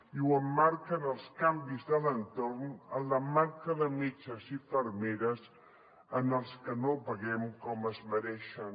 i ho emmarca en els canvis de l’entorn en la manca de metges i infermeres als que no paguem com es mereixen